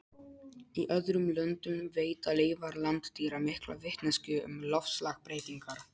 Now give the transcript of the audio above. Í öðrum löndum veita leifar landdýra mikla vitneskju um loftslagsbreytingar.